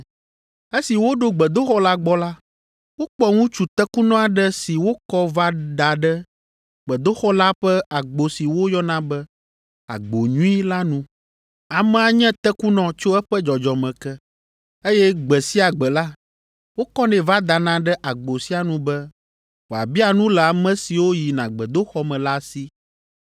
Esi woɖo gbedoxɔ la gbɔ la, wokpɔ ŋutsu tekunɔ aɖe si wokɔ va da ɖe gbedoxɔ la ƒe agbo si woyɔna be, “Agbo Nyui” la nu. Amea nye tekunɔ tso eƒe dzɔdzɔme ke, eye gbe sia gbe la, wokɔnɛ va dana ɖe agbo sia nu be wòabia nu le ame siwo yina gbedoxɔ me la si.